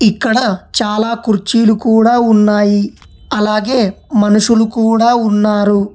ఇక్కడ చాలా కుర్చీలు కూడా ఉన్నాయి అలాగే మనుషులు కూడా ఉన్నారు.